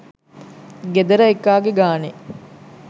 ගෙදර එකාගෙ ගානෙ